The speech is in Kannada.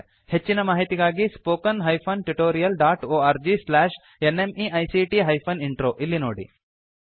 ಹೆಚ್ಚಿನ ಮಾಹಿತಿಗಾಗಿ spoken hyphen tutorial dot org slash NMEICT hyphen intro ಇಲ್ಲಿ ನೋಡಿ